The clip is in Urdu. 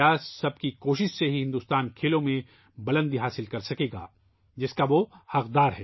سب کی کوشش سے ہی بھارت کھیلوں میں وہ اونچائی حاصل کر سکے گا ، جس کا وہ حقدار ہے